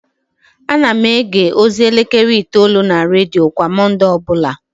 Ana m ege ozi elekere itoolu na redio kwa Mọnde ọ bụla